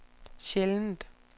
sjældent